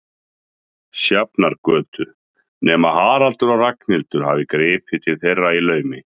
Sjafnargötu, nema Haraldur og Ragnhildur hafi gripið til þeirra í laumi.